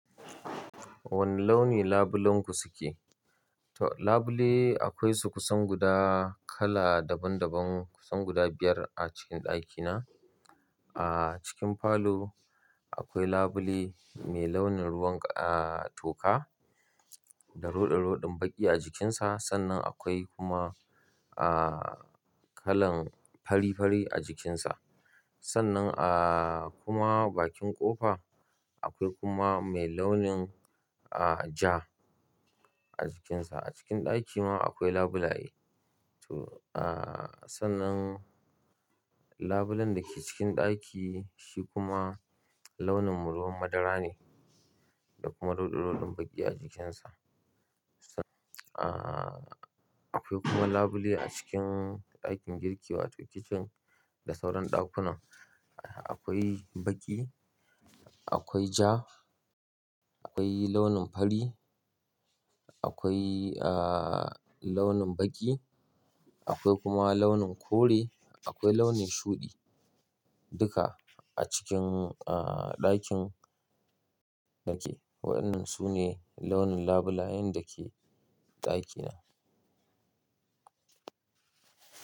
Waneh launi labulenku suke? Toh Labule akwai su kusan guda kala daban daban kusan guda biyar a cikin ɗakina. A cikin falo akwai labule mai launin ruwan, ah, toka da ruɗe ruɗeɗin baƙi a jikinsa. Sannan akwai kuma, ah, kalan fari fari a jikinsa. Sannan, ah, kuma bakin kofa akwai kuma mai launin, ah, ja a jikinsa. A cikin ɗaki ma akwai labulaye. To, ah, sannan labulen da ke cikin ɗaki shi kuma launin ruwan madara ne da kuma ruɗe ruɗeɗen baƙi a jikinsa. Ah, akwai kuma labule a cikin ɗakin girki wato kicin da sauran ɗakunan. Akwai baƙi, akwai ja, akwai launin fari, akwai, ah, launin baƙi, akwai kuma launin kore, akwai launin shuɗi. Duka a cikin, ah, ɗakin yake. Waɗannan su ne launin labulayen da ke ɗakina.